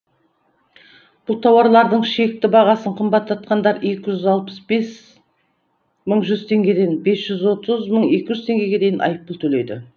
бұл тауарлардың шекті бағасын қымбаттатқандар екі жүз алпыс бес мың жүз теңгеден бес жүз отыз мың екі жүз теңгеге дейін айыппұл төлейді